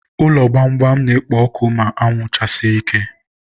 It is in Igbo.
ụlọ gbamgbam na-ekpo ọkụ ma anwụ chasie ike.